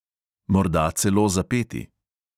Morda celo zapeti.